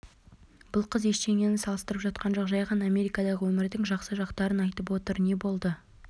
бұл қыз ештеңені салыстырып жатқан жоқ жай ғана америкадағы өмірдің жақсы жақтарын айтып отыр не болды